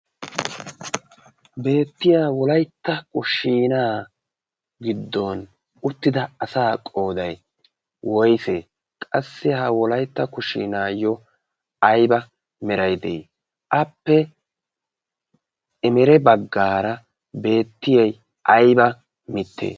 beettiya wolaitta kushiinaa giddon uttida asaa qoodai woise? qassi ha wolaitta kushiinaayyo aiba merai de7i?appe emere baggaara beettiyai aiba mitte?